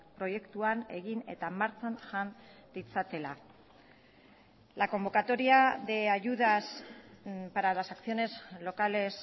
proiektuan egin eta martxan jan ditzatela la convocatoria de ayudas para las acciones locales